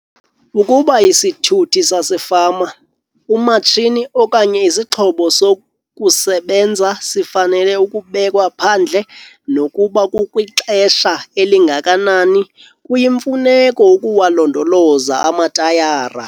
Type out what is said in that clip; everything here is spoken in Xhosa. Ukuba isithuthi sasefama, umatshini okanye isixhobo sokusebenza sifanele ukubekwa phandle nokuba kukwixesha elingakanani, kuyimfuneko ukuwalondoloza amatayara.